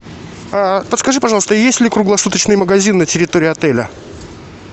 подскажи пожалуйста есть ли круглосуточный магазин на территории отеля